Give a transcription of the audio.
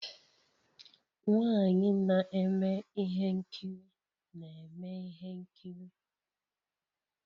Nwanyị na-eme ihe nkiri na-eme ihe nkiri